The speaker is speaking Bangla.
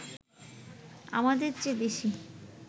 আমাদের চেয়ে বেশি